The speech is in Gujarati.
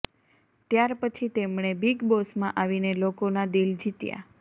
ત્યાર પછી તેમણે બીગ બોસમાં આવીને લોકોના દિલ જીત્યા